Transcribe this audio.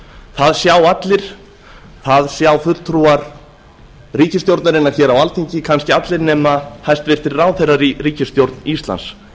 það sjá allir það sjá fulltrúar ríkisstjórnarinnar hér á alþingi kannski allir nema hæstvirtir ráðherrar í ríkisstjórn íslands